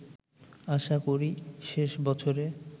আশা করি শেষ বছরে